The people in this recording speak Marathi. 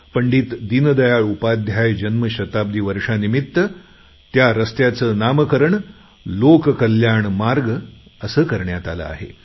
पंडित दीनदयाळ उपाध्याय जन्मशताब्दी वर्षानिमित्त त्या रस्त्याचं नामकरण लोककल्याण मार्ग असे करण्यात आले आहे